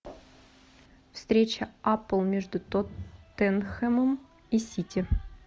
встреча апл между тоттенхэмом и сити